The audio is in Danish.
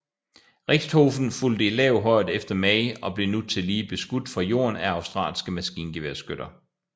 Richthofen fulgte i lav højde efter May og blev nu tillige beskudt fra jorden af australske maskingeværskytter